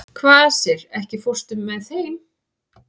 Kvasir, ekki fórstu með þeim?